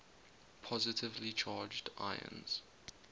positively charged ions